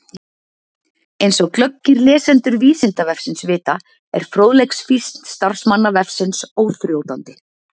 Eins og glöggir lesendur Vísindavefsins vita er fróðleiksfýsn starfsmanna vefsins óþrjótandi.